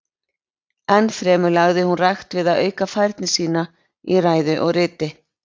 Enn fremur lagði hún rækt við að auka færni sína í ræðu og riti.